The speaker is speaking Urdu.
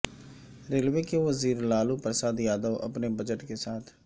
ریلوے کے وزیر لالو پرساد یادو اپنے بجٹ کے ساتھ